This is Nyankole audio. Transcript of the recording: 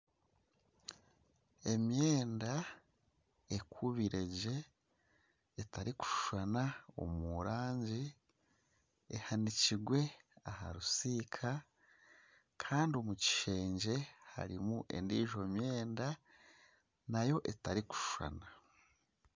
Emyenda ekubiregye etarikushushana omu rangi ehanikirwe aha bisika kandi omukishengye harimu endiijo emyenda nayo etarikushushana